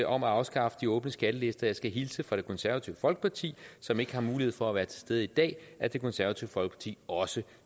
om at afskaffe de åbne skattelister og jeg skal hilse fra det konservative folkeparti som ikke har mulighed for at være til stede i dag og at det konservative folkeparti også